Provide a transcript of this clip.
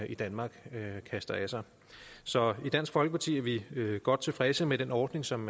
i danmark kaster af sig så i dansk folkeparti er vi godt tilfredse med den ordning som